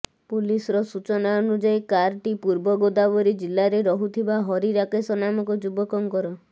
ପୁଲିସର ସୂଚନା ଅନୁସାରେ କାର୍ଟି ପୂର୍ବ ଗୋଦାବରୀ ଜିଲ୍ଲାରେ ରହୁଥିବା ହରି ରାକେଶ ନାମକ ଯୁବକଙ୍କର